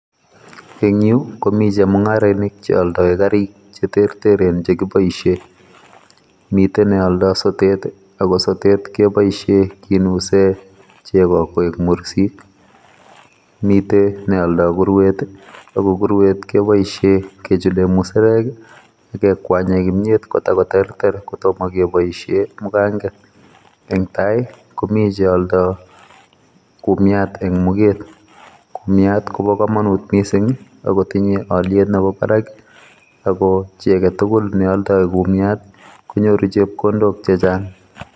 Eng yu komi chemungarainik che aldoi garik cheterteren che kiboisien. Mite ne aldoi sotet ii ago sotet koboisie kinuse chego koek mursik. Mite ne aldoi purwet ii ago puruet kepoisien kechule musarek ii, ip kekwanyen kimyet kotagoterter kotomo kepaisien muganget. Netai komi che aldoi kumiat eng muget. Kumiat kobo kamanut mising ii ak kotinye alyet nebo barak ago chi agetugul ne aldoi kumiat konyoru chepkondok che chachang.